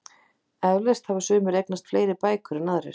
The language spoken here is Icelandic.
Eflaust hafa sumir eignast fleiri bækur en aðrir.